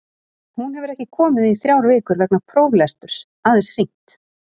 Hún hefur ekki komið í þrjár vikur vegna próflesturs, aðeins hringt.